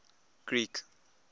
greek